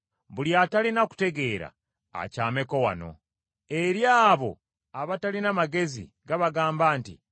“Buli atalina kutegeera akyameko wano!” Eri abo abatalina magezi gabagamba nti,